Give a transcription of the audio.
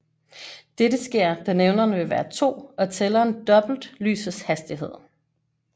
Dette sker da nævneren vil være 2 og tælleren dobbelt lysets hastighed